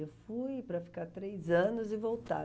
Eu fui para ficar três anos e voltar.